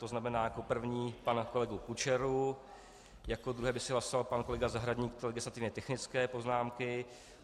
To znamená jako první pana kolegu Kučeru, jako druhý by se hlasoval pan kolega Zahradník, legislativně technické poznámky.